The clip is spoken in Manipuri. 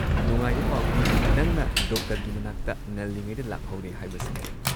ꯅꯨꯡꯉꯥꯏꯕ ꯄꯥꯎꯗꯤ, ꯅꯪꯅ ꯗꯣꯛꯇꯔꯒꯤ ꯃꯅꯥꯛꯇ ꯉꯜꯂꯤꯉꯩꯗ ꯂꯥꯛꯍꯧꯔꯦ ꯍꯥꯏꯕꯁꯤꯅꯤ꯫